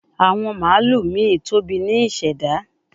Awon malu mi tobi ni iseda